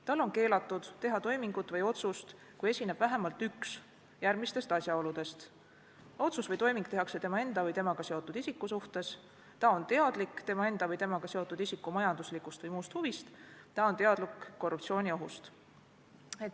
Tal on keelatud teha toimingut või otsust, kui esineb vähemalt üks järgmistest asjaoludest: otsus või toiming tehakse tema enda või temaga seotud isiku suhtes, ta on teadlik tema enda või temaga seotud isiku majanduslikust või muust huvist, ta on teadlik korruptsiooniohust.